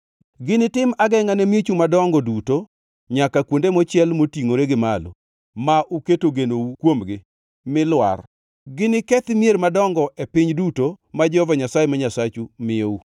Ginitim agengʼa ne miechu madongo duto nyaka kuonde mochiel motingʼore gi malo ma uketo genou kuomgi lwar. Ginikethi mier madongo e piny duto ma Jehova Nyasaye ma Nyasachu miyou.